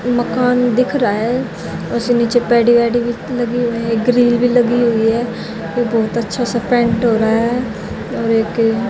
मकान दिख रहा है उसे नीचे पैडी वैडी लगी हुई है ग्रिल भी लगी हुई है बहुत अच्छे से पेंट हो रहा है और एक--